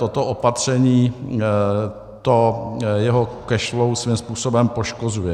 Toto opatření jeho cash flow svým způsobem poškozuje.